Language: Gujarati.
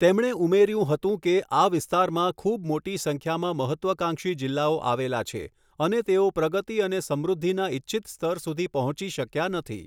તેમણે ઉમેર્યું હતું કે, આ વિસ્તારમાં ખૂૂબ મોટી સંખ્યામાં મહત્ત્વાકાંક્ષી જિલ્લાઓ આવેલા છે અને તેઓ પ્રગતી અને સમૃદ્ધિના ઇચ્છિત સ્તર સુધી પહોંચી શક્યા નથી.